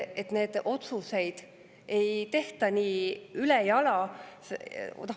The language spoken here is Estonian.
Siis neid otsuseid ei tehta nii ülejala.